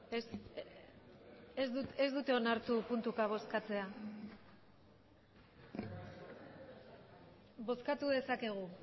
ez dute onartu puntuka bozkatzea bozkatu dezakegu